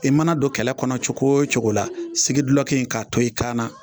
I mana don kɛlɛ kɔnɔ cogo o cogo la, sigi duki in k'a to i kaana